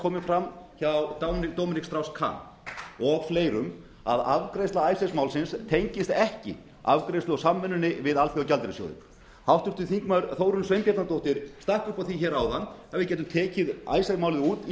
komið fram hjá dominic strauss kahn og fleirum að afgreiðsla icesave málsins tengist ekki afgreiðslu á samvinnunni við alþjóðagjaldeyrissjóðinn háttvirtur þingmaður þórunn sveinbjarnardóttir stakk upp á því áðan að vi á gætum tekið icesave málið út